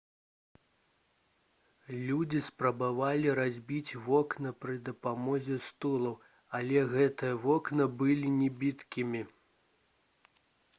людзі спрабавалі разбіць вокны пры дапамозе стулаў але гэтыя вокны былі небіткімі